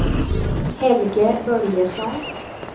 Helge Börjesson